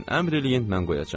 Əmr eləyin, mən qoyacam.